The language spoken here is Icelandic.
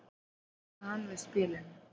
jánkaði hann við spilinu